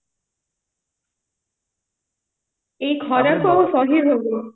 ଏଇ ଖରାକୁ କୁ ଆଉ ସହି ହଉନି